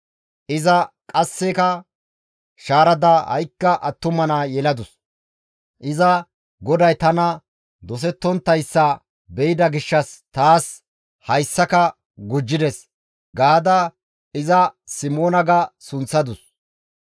Iza qasseka shaarada ha7ikka attuma naa yeladus; iza, «GODAY tani dosettonttayssa be7ida gishshas taas hayssaka gujjides» gaada iza Simoona ga sunththadus.